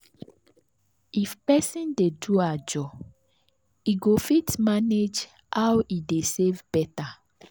if person dey do ajo e go fit manage how e dey save better.